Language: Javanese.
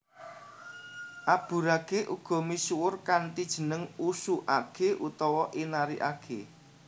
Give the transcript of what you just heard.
Aburage uga misuwur kanthi jeneng Usu age utawa Inari age